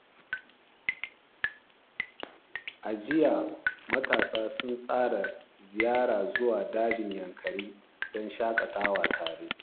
A jiya, matasa sun tsara ziyara zuwa Dajin Yankari don shakatawa tare.